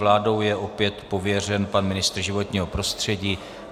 Vládou je opět pověřen pan ministr životního prostředí.